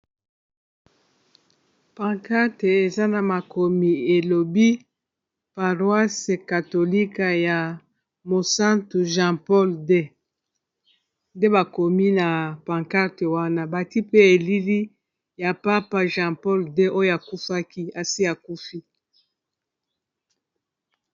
Pancarte eza na makomi elobi paroise katolika ya monsanto jean paul deux nde bakomi na pancarte wana bati pe elili ya papa jean paul deux oyo akufaki asi akufi